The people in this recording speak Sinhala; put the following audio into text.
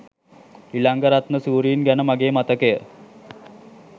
ඉලංගරත්න සූරීන් ගැන මගේ මතකය